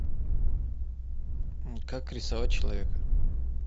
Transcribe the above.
как рисовать человека